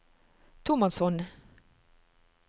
tomannshånd